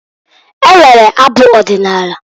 E nwere abụ ọdịnaala.